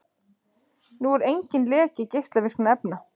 Nú er enginn leki geislavirkra efna